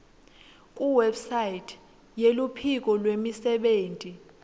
kuwebsite yeluphiko lwemisebenti